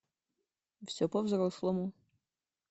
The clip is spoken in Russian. все по взрослому